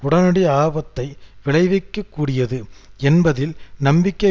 உடனடி ஆபத்தை விளைவிக்க கூடியது என்பதில் நம்பிக்கை